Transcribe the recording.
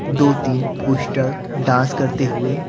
दो-तीन poster dance करते हुए--